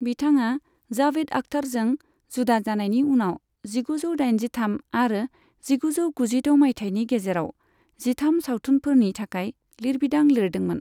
बिथाङा जाबेद आख्तारजों जुदा जानायनि उनाव जिगुजौ दाइनजिथाम आरो जिगुजौ गुजिद' माइथायनि गेजेराव जिथाम सावथुनफोरनि थाखाय लिरबिदां लिरदोंमोन।